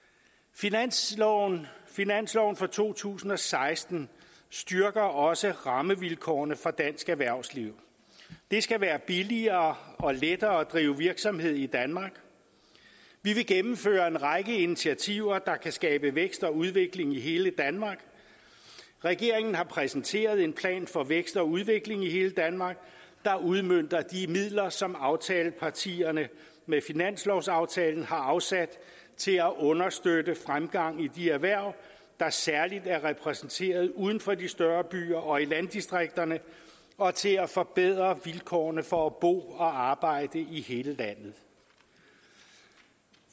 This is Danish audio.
finansloven finansloven for to tusind og seksten styrker også rammevilkårene for dansk erhvervsliv det skal være billigere og lettere at drive virksomhed i danmark vi vil gennemføre en række initiativer der kan skabe vækst og udvikling i hele danmark regeringen har præsenteret en plan for vækst og udvikling i hele danmark der udmønter de midler som aftalepartierne med finanslovsaftalen har afsat til at understøtte fremgang i de erhverv der særlig er repræsenteret uden for de større byer og i landdistrikterne og til at forbedre vilkårene for at bo og arbejde i hele landet